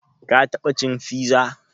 Ka taɓa cin fiza?